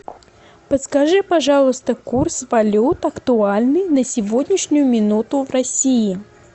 подскажи пожалуйста курс валют актуальный на сегодняшнюю минуту в россии